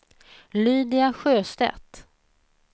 Lydia Sjöstedt